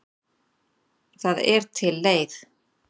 Það er til leið.